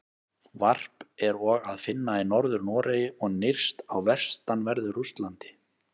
Varp er og að finna í Norður-Noregi og nyrst á vestanverðu Rússlandi.